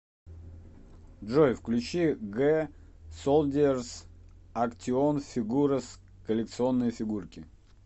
джой включи гэ солдиерзс актион фигурес коллекционные фигурки